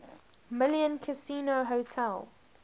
million casino hotel